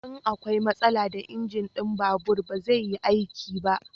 In akwai matsala da inji na babur ba zai yi aiki ba